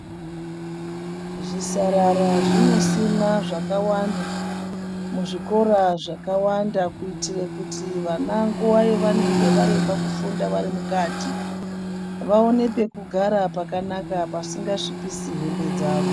Zvisarara zvinosimwa zvakawanda muzvikoro zvakawanda. Kuitira kuti vana nguva yavanenge varemba kufunda varimukati, vaone pekugara pakanaka pasingasvipisi hembe dzavo.